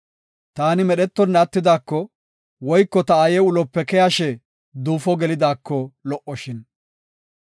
Taani medhetonna attidaako, woyko ta aaye ulope keyashe duufo gelidaako lo77oshin!